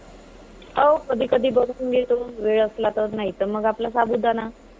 हो. कधीकधी बनवून घेतो, वेळ असला तर. नाहीतर मग आपला साबुदाणा.